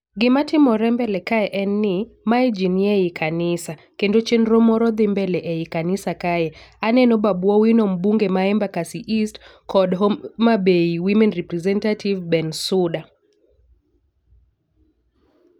Gima timore mbele kae en ni mae jii nie ii kanisa kendo chenro moro dhi mbele ei kanisa. Kae aneno mbunge ma Embakasi East kod Homabay women representative Ben Suda.